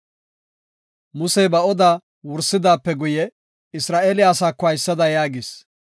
Musey ba odaa wursidaape guye Isra7eele asaako haysada yaagis;